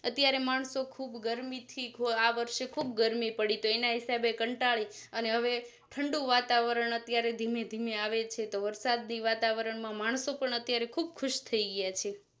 અત્યારે માણસો ખુબ ગરમી થીઆ વર્ષે ખુબ ગરમી પડી તો એના હિસાબે કંટાળી અને હવે ઠંડું વાતાવરણ અત્યારે ધીમે ધીમે આવે છે તો વરસાદ ની વાતાવરણ માં માણસો પણ અત્યારે ખુબ ખુશ થઈ ગયા છે